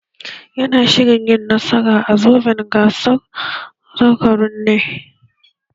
Yana shirin yin nasara a zoben gasar zakarun neh